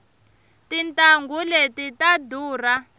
tintanghu leti ta durha